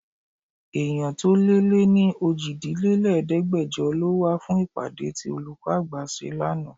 Èèyàn tó lé ní ní òjìlélẹ̀ẹ́dẹgbejọ lọ wá fún ìpàdé tí olùkọ́ àgbà ṣe lánàá.